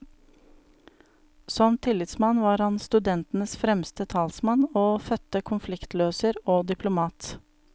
Som tillitsmann var han studentenes fremste talsmann og fødte konfliktløser og diplomat.